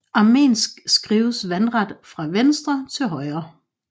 Armensk skrives vandret fra venstre til højre